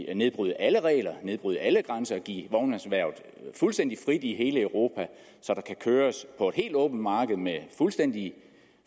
at nedbryde alle regler nedbryde alle grænser og give vognmandserhvervet fuldstændig frit i hele europa så der kan køres på et helt åbent marked med fuldstændig